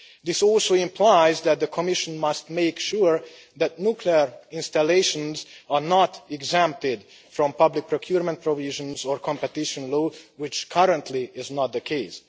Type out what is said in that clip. This also implies that the Commission must make sure that nuclear installations are not exempted from public procurement provisions or competition law, which currently is not the case.